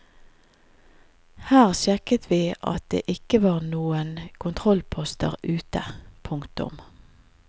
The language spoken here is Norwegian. Her sjekket vi at det ikke var noen kontrollposter ute. punktum